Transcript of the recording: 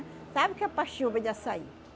Sabe o que é paxiúba de açaí?